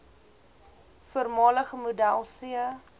voormalige model c